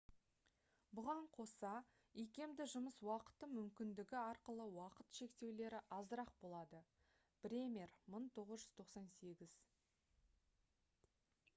бұған қоса икемді жұмыс уақыты мүмкіндігі арқылы уақыт шектеулері азырақ болады. бремер 1998